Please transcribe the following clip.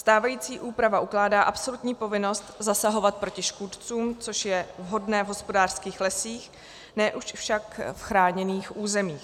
Stávající úprava ukládá absolutní povinnost zasahovat proti škůdcům, což je vhodné v hospodářských lesích, ne už však v chráněných územích.